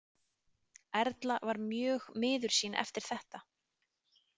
Erla var mjög miður sín eftir þetta.